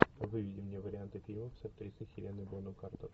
выведи мне варианты фильмов с актрисой хеленой бонем картер